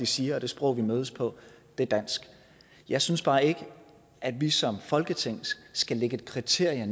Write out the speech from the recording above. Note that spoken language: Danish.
siger og det sprog vi mødes på er dansk jeg synes bare ikke at vi som folketing skal lægge et kriterie